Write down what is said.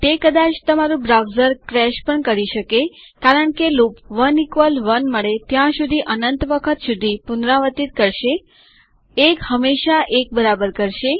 તે કદાચ તમારું બ્રાઉઝર ક્રેશ પણ કરી શકે કારણ કે લૂપ 11 મળે ત્યાં સુધી અનંત વખત સુધી પુનરાવર્તિત કરશે 1 હંમેશા 1 બરાબર કરશે